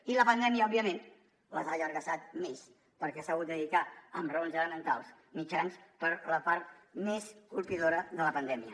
i la pandèmia òbviament les ha allargassat més perquè s’ha hagut de dedicar amb raons elementals mitjans per la part més colpidora de la pandèmia